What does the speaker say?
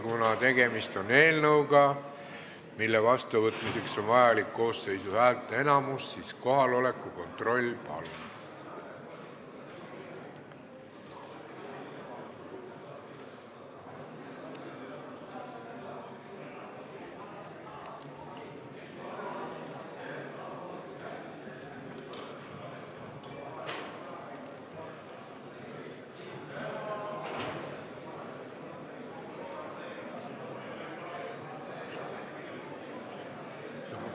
Kuna tegemist on eelnõuga, mille seadusena vastuvõtmiseks on vaja koosseisu häälteenamust, siis kohaloleku kontroll, palun!